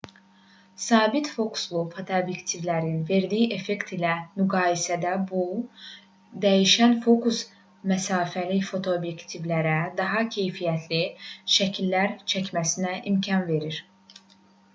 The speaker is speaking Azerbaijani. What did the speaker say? sabit fokuslu fotoobyektivlərin verdiyi effekt ilə müqayisədə bu dəyişən fokus məsafəli fotoobyektivlərə daha keyfiyyətli şəkillər çəkməsinə imkan verir